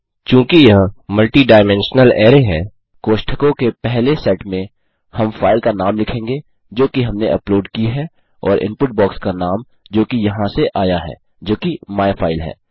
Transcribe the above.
चूँकि यह multidimensional array है कोष्ठकों के पहले सेट में हम फाइल का नाम लिखेंगे जोकि हमने अपलोड की है और इनपुट बॉक्स का नाम जोकि यहाँ से आया है जोकि माइफाइल है